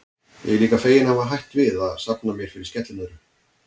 Ég er líka feginn að hafa hætt við að safna mér fyrir skellinöðru.